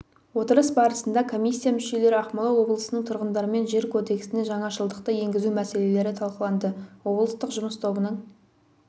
отырыс барысында комиссия мүшелері ақмола облысының тұрғындарымен жер кодексіне жаңашылдықты енгізу мәселелері талқыланды облыстық жұмыс тобының